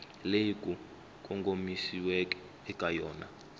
leyi ku kongomisiweke eka yona